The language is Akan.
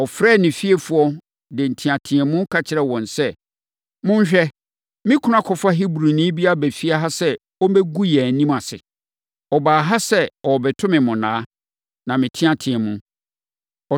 ɔfrɛɛ ne fiefoɔ, de nteateam ka kyerɛɛ wɔn sɛ, “Monhwɛ! Me kunu akɔfa Hebrini bi aba efie ha sɛ ɔmmɛgu yɛn anim ase. Ɔbaa ha sɛ ɔrebɛto me monnaa na meteateaam.